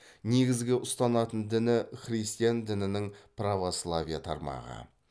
негізгі ұстанатын діні христиан дінінің православие тармағы